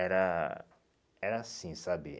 Era era assim, sabe?